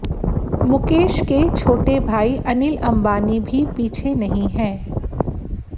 मुकेश के छोटे भाई अनिल अंबानी भी पीछे नहीं हैं